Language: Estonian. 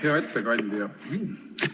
Hea ettekandja!